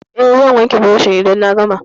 Eh, zan wanke burushin idan na gama.